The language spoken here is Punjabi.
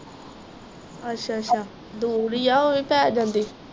ਅੱਛਾ ਅੱਛਾ ਦੂਰ ਈ ਆ ਉਹ ਵੀ ਪੈ ਜਾਂਦੀ